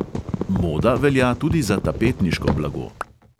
Moda velja tudi za tapetniško blago.